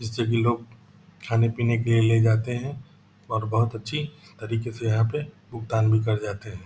सभी लोग खाने-पीने के लिए ले जाते हैं और बहुत अच्छी तरीके से यहां पे भुगतान भी कर जाते है।